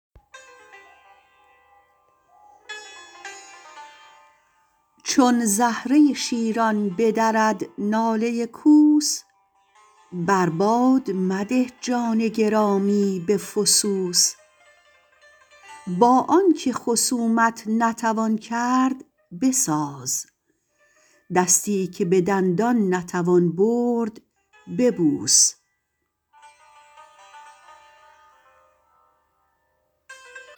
چون زهره شیران بدرد ناله کوس بر باد مده جان گرامی به فسوس با آنکه خصومت نتوان کرد بساز دستی که به دندان نتوان برد ببوس